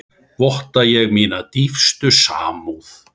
Votta ég mína dýpstu samúð.